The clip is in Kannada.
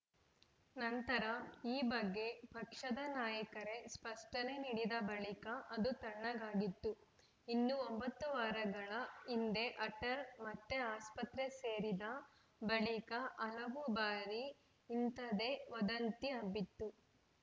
ನಂತರ ಈ ಬಗ್ಗೆ ಪಕ್ಷದ ನಾಯಕರೇ ಸ್ಪಷ್ಟನೆ ನೀಡಿದ ಬಳಿಕ ಅದು ತಣ್ಣಗಾಗಿತ್ತು ಇನ್ನು ಒಂಬತ್ತು ವಾರಗಳ ಹಿಂದೆ ಅಟಲ್‌ ಮತ್ತೆ ಆಸ್ಪತ್ರೆ ಸೇರಿದ ಬಳಿಕ ಹಲವು ಬಾರಿ ಇಂಥದ್ದೇ ವದಂತಿ ಹಬ್ಬಿತ್ತು